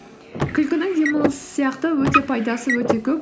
күлкінің демалыс сияқты өте пайдасы өте көп